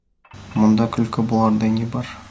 мұнда күлкі болардай не бар